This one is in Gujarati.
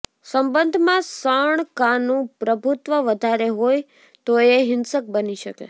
સંબંધમાં સણકાનું પ્રભુત્વ વધારે હોય તો એ હિંસક બની શકે